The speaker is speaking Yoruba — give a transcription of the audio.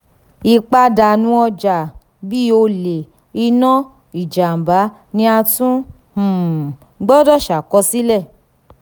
ipadanu ọja bii ole ina ijamba ni a tun um gbọdọ ṣakosile.